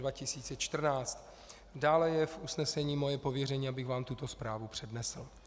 Dále je v usnesení moje pověření, abych vám tuto zprávu přednesl.